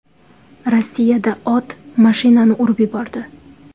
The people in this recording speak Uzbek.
Rossiyada ot mashinani urib yubordi .